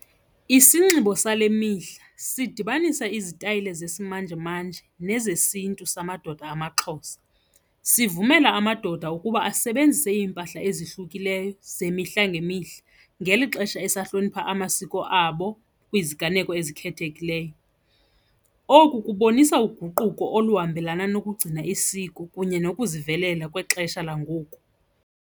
Isinxibo sale mihla sidibanisa izitayile zesimanjemanje nezesiNtu zamadoda amaXhosa, sivumela amadoda ukuba asebenzise iimpahla ezihlukileyo zemihla ngemihla ngeli xesha esahlonipha amasiko abo kwiziganeko ezikhethekileyo. Oku kubonisa uguquko oluhambelana nokugcina isiko kunye nokuzivelela kwixesha langoku.